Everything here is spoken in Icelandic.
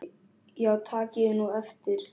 Já takið nú eftir.